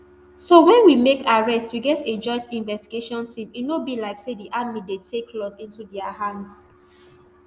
so wen we make arrests we get a joint investigation team e no be like say di army dey take laws into dia hands